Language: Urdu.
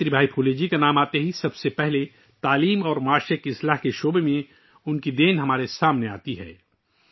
ساوتری بائی پھولے جی کا نام آتے ہی سب سے پہلی چیز جو ہمیں متاثر کرتی ہے وہ تعلیم اور سماجی اصلاح کے میدان میں ان کی شراکت داری ہے